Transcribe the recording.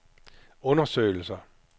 undersøgelser